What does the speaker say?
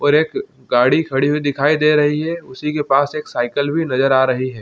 और एक गाड़ी खड़ी हुई दिखाई दे रही है उसी के पास एक साइकिल भी नज़र आ रही है।